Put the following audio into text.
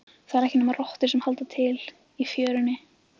Það eru ekki nema rottur sem halda til í fjörunni.